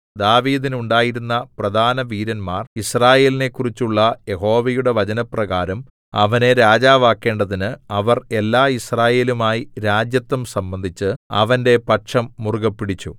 ദാവീദിന് ഉണ്ടായിരുന്ന പ്രധാന വീരന്മാർ യിസ്രായേലിനെക്കുറിച്ചുള്ള യഹോവയുടെ വചനപ്രകാരം അവനെ രാജാവാക്കേണ്ടതിന് അവർ എല്ലാ യിസ്രായേലുമായി രാജത്വം സംബന്ധിച്ചു അവന്റെ പക്ഷം മുറുകെപ്പിടിച്ചു